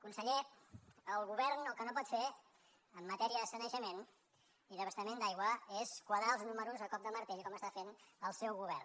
conseller el govern el que no pot fer en matèria de sanejament i d’abastament d’aigua és quadrar els números a cop de martell com està fent el seu govern